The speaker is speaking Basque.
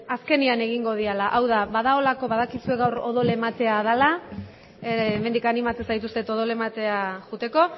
eh askenean egingo diala au da bada olako badakizue gaur odol ematea dela hemendik animatzen zaituztet odola ematera joateko